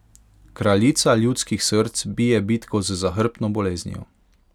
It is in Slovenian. Kraljica ljudskih src bije bitko z zahrbtno boleznijo.